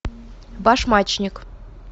башмачник